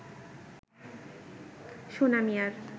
সোনা মিয়ার